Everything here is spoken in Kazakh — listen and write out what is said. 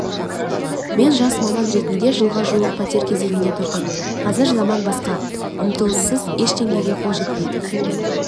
мен жас маман ретінде жылға жуық пәтер кезегінде тұрдым қазір заман басқа ұмтылыссыз ештеңеге қол жетпейді